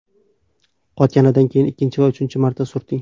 Qotganidan keyin ikkinchi va uchinchi marta surting.